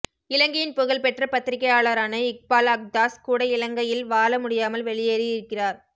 இலங்கையின் புகழ்பெற்ற பத்திரிகையாளாரான இக்பால் அக்தாஸ் கூட இலங்கயில் வாழ முடியாமல் வெளியேறி இருக்கிறார்